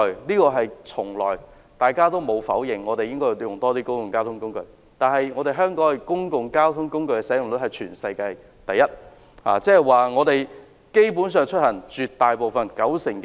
我們從來不否認，市民應較多使用交通工具，而香港公共交通工具的使用率是全球第一，即九成多香港市民出行使用公共交通工具。